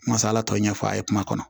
Masala tɔ ye ɲɛfɔ a ye kuma kɔnɔ